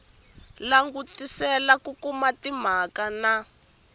langutisela ku kuma timhaka na